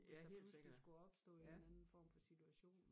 Hvis der pludselig skulle opstå en eller anden form for situation